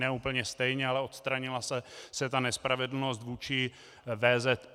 Ne úplně stejně, ale odstranila se ta nespravedlnost vůči VZP.